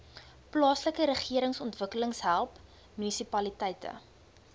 plaaslikeregeringsontwikkeling help munisipaliteite